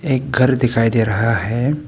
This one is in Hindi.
एक घर दिखाई दे रहा है।